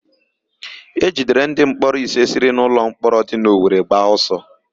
E jidere ndịmkpọrọ ise siri n'ụlọmkpọrọ dị n'Owere gbaa ọsọ